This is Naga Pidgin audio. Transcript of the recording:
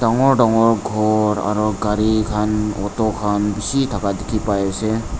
dangor dangor khor aru gari khan auto khan bishi thaka dikhipaiase.